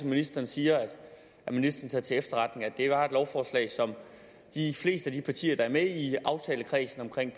ministeren siger at ministeren tager til efterretning at det var et lovforslag som de fleste af de partier der er med i aftalekredsen om